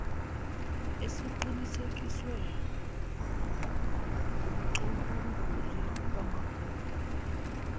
esiqinisekiswe ngumcubunguli wamabhuku